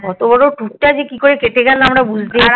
এতবড়ো tour তা যে কিভাবে কেটে গেল বোঝাই গেল না